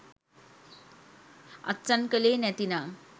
අත්සන් කලේ නැතිනම්